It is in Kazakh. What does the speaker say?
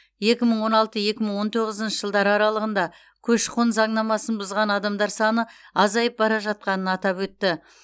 екі мың он алты екі мың он тоғызыншы жылдар аралығында көші қон заңнамасын бұзған адамдар саны азайып бара жатқанын атап өтті